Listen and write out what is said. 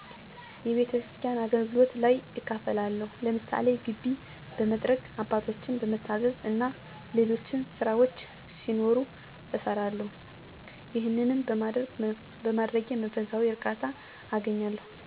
የቤተስኪያን አገልግሎቶች ላይ እካፈላለሁ። ለምሳሌ ግቢ በመጥረግ፣ አባቶችን በመታዘዝ እና ሌሎች ስራዎች ሲኖሩ እሰራለሁ። ይሄንንም በማድረጌ መንፈሳዊ እርካታ አገኛለሁ።